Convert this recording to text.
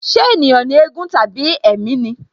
Ṣé ènìyàn ni éégún tàbí ẹ̀mí ni?